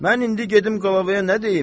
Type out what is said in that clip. Mən indi gedim qlavaya nə deyim?